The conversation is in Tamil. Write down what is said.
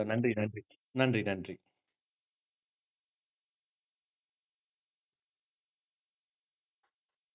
நன்றி நன்றி நன்றி நன்றி நன்றி